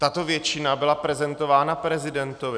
Tato většina byla prezentována prezidentovi.